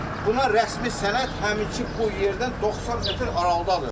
Buna rəsmi sənəd həminki bu yerdən 90 metr aralıqdadır.